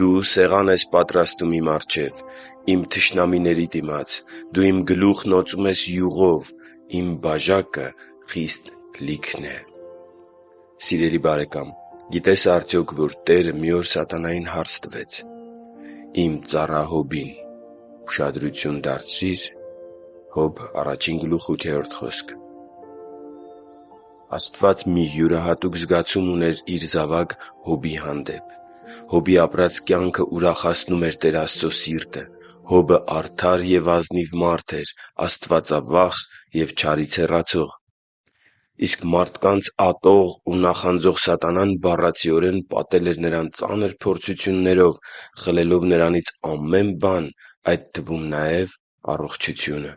«Դու սեղան ես պատրաստում իմ առջև՝ իմ թշնամիների դիմաց. դու իմ գլուխն օծում ես յուղով, իմ բաժակը լեփ-լեցուն է»: (Սաղմոս 23.5) Սիրելի՛ բարեկամ, գիտե՞ս արդյոք, որ Տերը մի օր սատանային հարց տվեց. «Իմ ծառա Հոբին ուշադրություն դարձրի՞ր» (Հոբ 1․8)։ Աստված մի յուրահատուկ զգացում ուներ Իր զավակ Հոբի հանդեպ։ Հոբի ապրած կյանքը ուրախացնում էր Տեր Աստծո սիրտը։ Հոբը արդար և ազնիվ մարդ էր, աստվածավախ և չարից հեռացող: Իսկ մարդկանց ատող ու նախանձող սատանան բառացիորեն պատել էր նրան ծանր փորձություններով՝ խլելով նրանից ամեն բան, այդ թվում՝ նաև առողջությունը։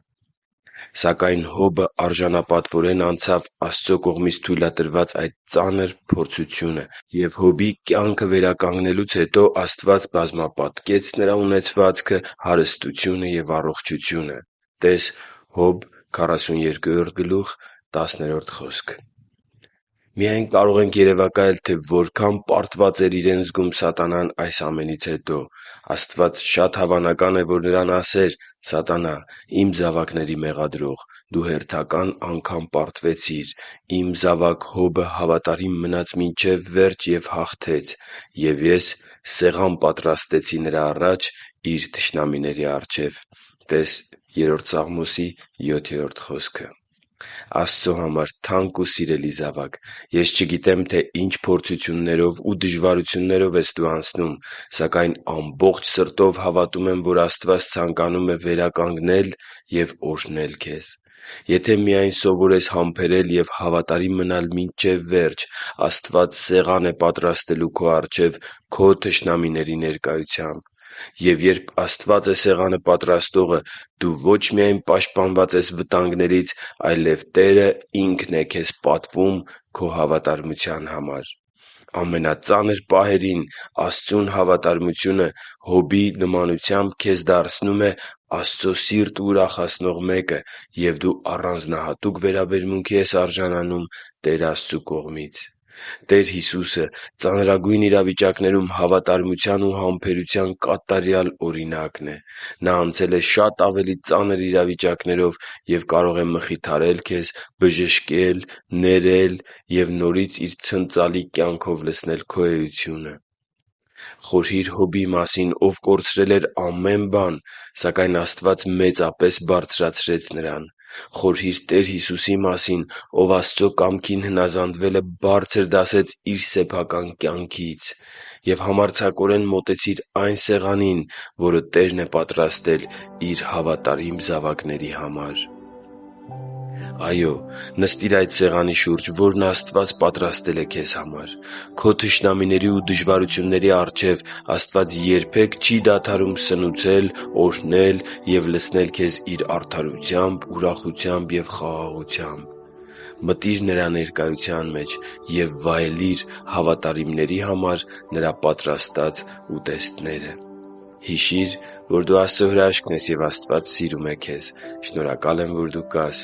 Սակայն Հոբը արժանապատվորեն անցավ Աստծո կողմից թույլատրված այդ ծանր փորձությունը, և Հոբի կյանքը վերականգնելուց հետո Աստված բազմապատկեց նրա ունեցվածքը, հարստությունը և առողջությունը (Հոբ 42.10): Միայն կարող ենք երևակայել, թե որքա՜ն պարտված էր իրեն զգում սատանան այս ամենից հետո։ Աստված շատ հավանական է, որ նրան ասեր. «Սատանա՛, իմ զավակների մեղադրող, դու հերթական անգամ պարտվեցիր: Իմ զավակ Հոբը հավատարիմ մնաց մինչև վերջ և հաղթեց: Եվ Ես սեղան պատրաստեցի նրա առաջ՝ իր թշնամիների առջև» (տես Սաղմոս 3.7)։ Աստծո համար թանկ ու սիրելի՛ զավակ, ես չգիտեմ, թե ինչ փորձություններով ու դժվարություններով ես դու անցնում, սակայն ամբողջ սրտով հավատում եմ, որ Աստված ցանկանում է վերականգնել և օրհնել քեզ։ Եթե միայն սովորես համբերել և հավատարիմ մնալ մինչև վերջ, Աստված սեղան է պատրաստելու քո առջև՝ քո թշնամիների ներկայությամբ: Եվ երբ Աստված է սեղանը պատրաստողը, դու ոչ միայն պաշտպանված ես բոլոր վտանգներից, այլև Տերը Ինքն է քեզ պատվում քո հավատարմության համար։ Ամենածանր պահերին Աստծուն հավատարմությունը Հոբի նմանությամբ քեզ դարձնում է Աստծո սիրտը ուրախացնող մեկը, և դու առանձնահատուկ վերաբերմունքի ես արժանանում Տեր Աստծու կողմից։ Տեր Հիսուսը ծանրագույն իրավիճակներում հավատարմության ու համբերության կատարյալ օրինակն է։ Նա անցել է շատ ավելի ծանր իրավիճակներով և կարող է մխիթարել քեզ, բժշկել, ներել և նորից իր ցնծալի կյանքով լցնել քո էությունը: Խորհի՛ր Հոբի մասին, ով կորցրել էր ամեն բան, սակայն Աստված մեծապես բարձրացրեց նրան: Խորհի՛ր Տեր Հիսուսի մասին, ով Աստծո կամքին հնազանդվելը բարձր դասեց Իր սեփական կյանքից։ Եվ համարձակորեն մոտեցի՛ր այն սեղանին, որը Տերն է պատրաստել Իր հավատարիմ զավակների համար․․․ Այո՛, նստիր այդ սեղանի շուրջ, որը Աստված պատրաստել է քեզ համար: Քո թշնամիների ու դժվարությունների առջև Աստված երբեք չի դադարում սնուցել, օրհնել և լցնել քեզ Իր արդարությամբ, ուրախությամբ ու խաղաղությամբ: Մտի՛ր Նրա ներկայության մեջ և վայելի՛ր հավատարիմների համար Նրա պատրաստած ուտեստները․․․ Հիշի՛ր, որ դու Աստծո հրաշքն ես, և Աստված սիրում է քեզ։ Շնորհակալ եմ, որ դու կա՛ս